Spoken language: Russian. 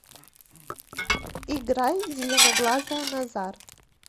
играй зеленоглазая назар